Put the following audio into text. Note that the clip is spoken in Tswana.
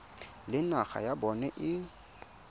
le naga ya bona e